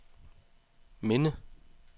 minde